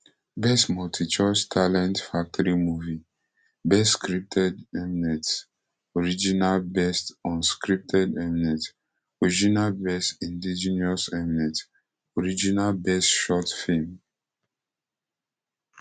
best multichoice talent factory movie best scripted mnet original best unscripted mnet original best indigenous mnet original best short film